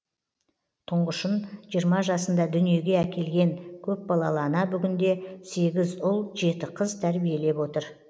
тұңғышын жиырма жасында дүниеге әкелген көпбалалы ана бүгінде сегіз ұл жеті қыз тәрбиелеп отыр